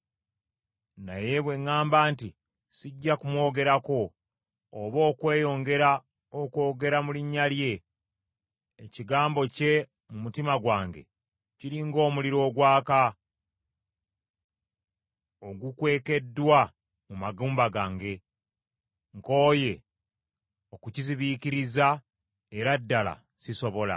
Naye bwe ŋŋamba nti, “Sijja kumwogerako oba okweyongera okwogera mu linnya lye,” ekigambo kye mu mutima gwange kiri ng’omuliro ogwaka, ogukwekeddwa mu magumba gange. Nkooye okukizibiikiriza era ddala sisobola.